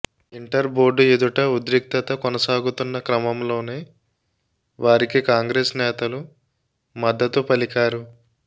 inter board ఎదుట ఉద్రిక్తత కొనసాగుతున్న క్రమంలోనే వారికి కాంగ్రెస్ నేతలు మద్దతు పలికారు